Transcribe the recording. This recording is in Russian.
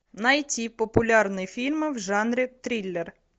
найти популярные фильмы в жанре триллер